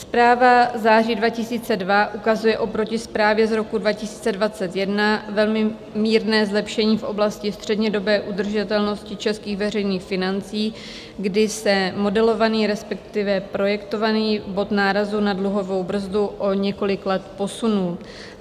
Zpráva září 2002 ukazuje oproti zprávě z roku 2021 velmi mírné zlepšení v oblasti střednědobé udržitelnosti českých veřejných financí, kdy se modelovaný, respektive projektovaný bod nárazu na dluhovou brzdu o několik let posunul.